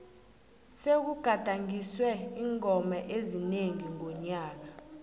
sekugadangiswe iingoma ezinengi nonyaka